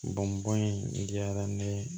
Bɔn bɔn in diyara ne ye